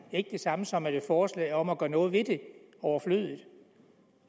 ikke det samme som at et forslag om at gøre noget ved det er overflødigt